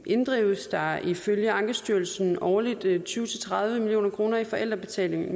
inddrives der ifølge ankestyrelsen årligt tyve til tredive million kroner i forældrebetaling